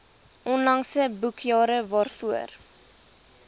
onlangse boekjare waarvoor